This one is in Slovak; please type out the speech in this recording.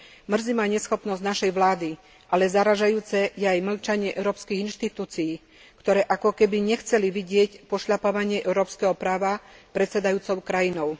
Mrzí ma neschopnosť našej vlády, ale zarážajúce je aj mlčanie Európskych inštitúcií, ktoré ako keby nechceli vidieť pošľapávanie európskeho práva predsedajúcou krajinou.